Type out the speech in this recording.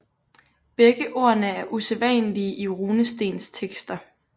Begge ordene er usædvanlige i runestenstekster